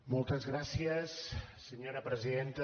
moltes gràcies senyora presidenta